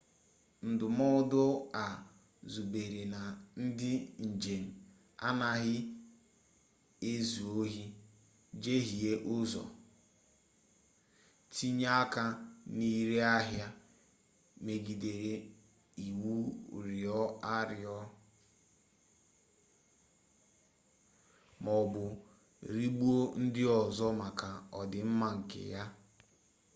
ndụmọdụ a zubere na ndị njem anaghị ezu ohi jehiee ụzọ tinye aka na ire ahịa megidere iwu rịọọ arịrịọ maọbụ rigbuo ndị ọzọ maka ọdịmma nke ha